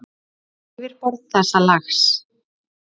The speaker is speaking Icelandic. Yfirborð þessa lags